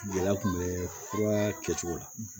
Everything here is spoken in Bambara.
Gɛlɛya kun bɛ fura kɛcogo la